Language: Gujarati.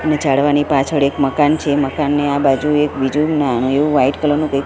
અને ઝાડવાની પાછળ એક મકાન છે મકાનની આ બાજુ એક બીજુ નાનુ એવુ વ્હાઇટ કલર નુ કઇ--